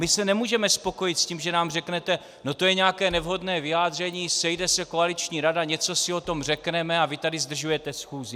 my se nemůžeme spokojit s tím, že nám řeknete: no to je nějaké nevhodné vyjádření, sejde se koaliční rada, něco si o tom řekneme a vy tady zdržujete schůzi.